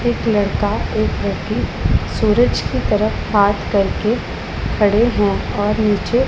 एक लड़का एक लड़की सूरज की तरफ हाथ करके खड़े है और नीचे--